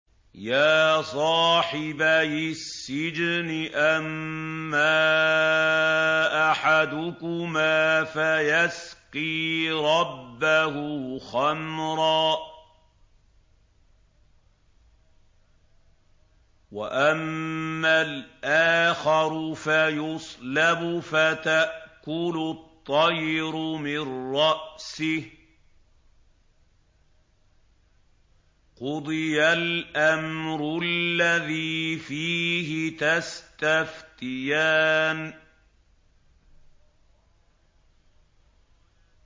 يَا صَاحِبَيِ السِّجْنِ أَمَّا أَحَدُكُمَا فَيَسْقِي رَبَّهُ خَمْرًا ۖ وَأَمَّا الْآخَرُ فَيُصْلَبُ فَتَأْكُلُ الطَّيْرُ مِن رَّأْسِهِ ۚ قُضِيَ الْأَمْرُ الَّذِي فِيهِ تَسْتَفْتِيَانِ